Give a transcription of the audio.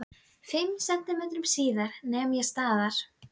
Fimm sentímetrum síðar nem ég staðar.